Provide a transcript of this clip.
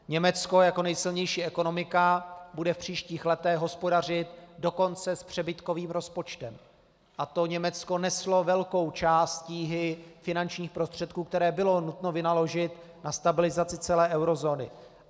Německo jako nejsilnější ekonomika bude v příštích letech hospodařit dokonce s přebytkovým rozpočtem, a to Německo neslo velkou část tíhy finančních prostředků, které bylo nutno vynaložit na stabilizaci celé eurozóny.